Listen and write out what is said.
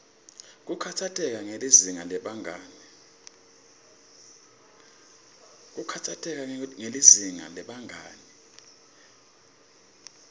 kukhatsateka ngelizinga lebangani